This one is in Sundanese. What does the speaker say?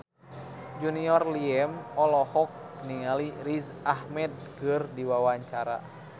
Junior Liem olohok ningali Riz Ahmed keur diwawancara